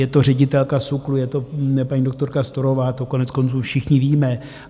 Je to ředitelka SÚKLu, je to paní doktorka Storová, to koneckonců všichni víme.